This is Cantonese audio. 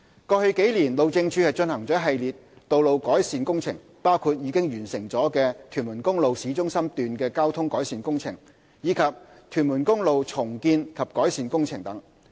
過往數年，路政署進行了一系列道路改善工程，包括已完成的屯門公路市中心段的交通改善工程，以及屯門公路重建及改善工程等。